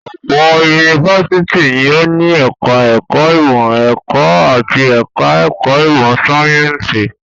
Ọ̀pọ̀ yunifásitì ni ó ní ẹ̀ka-ẹ̀kọ́ ìmọ̀-ẹ̀kọ́ àti ẹ̀ka-ẹ̀kọ́ ìmọ̀-sáyẹ́ńsì.